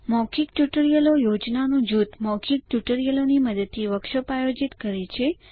મૌખિક ટ્યુટોરિયલોનું જૂથ મૌખિક ટ્યુટોરિયલોની મદદથી વર્કશોપ આયોજિત કરે છે